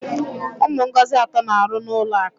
Ụmụ Ngozi atọ na-aru n'ulọ akụ.